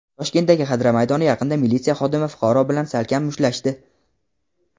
Toshkentdagi Xadra maydoni yaqinida militsiya xodimi fuqaro bilan salkam mushtlashdi.